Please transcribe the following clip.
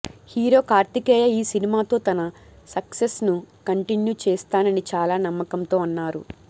hero Karthikeya ఈ సినిమాతో తన సక్సెస్ ను కంటిన్యూ చేస్తానని చాలా నమ్మకంతో అన్నారు